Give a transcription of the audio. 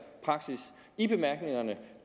praksis i bemærkningerne